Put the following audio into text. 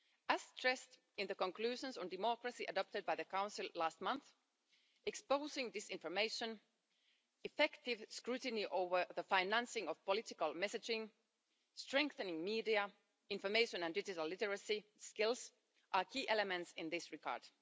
As stressed in the conclusions on democracy adopted by the Council last month, exposing disinformation, effective scrutiny over the financing of political messaging, strengthening media, information and digital literacy skills are key elements in this regard.